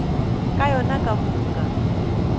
ka yona ka moka ba